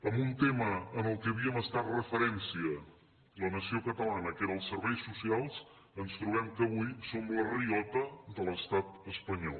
en un tema en què havíem estat referència la nació catalana que eren els serveis socials ens trobem que avui som la riota de l’estat espanyol